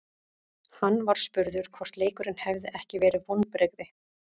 Hann var spurður hvort leikurinn hefði ekki verið vonbrigði.